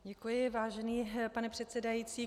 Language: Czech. Děkuji, vážený pane předsedající.